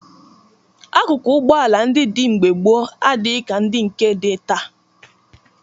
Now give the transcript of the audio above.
Akụkụ ụgbọala ndị dị mgbe gboo adịghị ka ndị nke dị taa